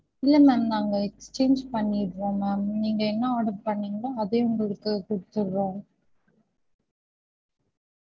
இல்ல ma'am நாங்க exchange பண்ணிறோம் ma'am நீங்க என்ன order பண்ணிங்களோ அதே உங்களுக்கு குடுத்துடுறோம்